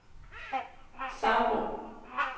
Sabro